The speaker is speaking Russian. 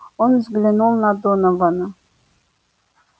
он взглянул на донована